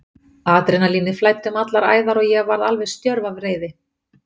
Adrenalínið flæddi um allar æðar og ég varð alveg stjörf af reiði.